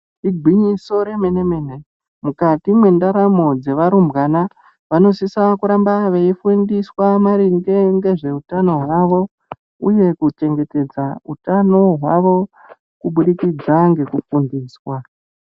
Igwinyiso remene-mene, mukati mwendaramo dzevarumbwana vanosisa kuramba veifundiswa maringe ngezveutano hwavo uye kuchengetedza utano hwavo kubudikidza ngekufundiswa.